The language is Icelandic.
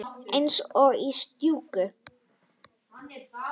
Eins og í stúku.